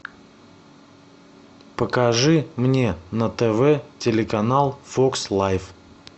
покажи мне на тв телеканал фокс лайв